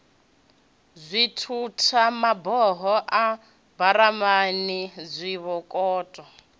dzithutha maboho a maburamani zwibokoṱo